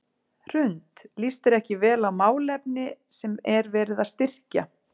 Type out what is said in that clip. Hrund: Líst þér ekki vel á málefni sem er verið að styrkja?